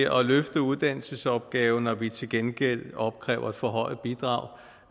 at løfte uddannelsesopgaven når vi til gengæld opkræver et forhøjet bidrag